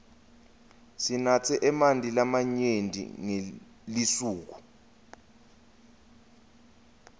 sinatse emanti lamanyenti ngelisuku